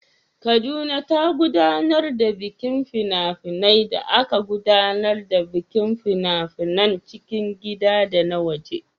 Kaduna ta gudanar da bikin fina-finai da aka gudanar da bikin fina-finan cikin gida da na waje.